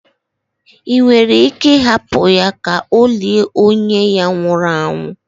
ị nwere ike hapụ ya ka o lie onye ya nwụru anwụ?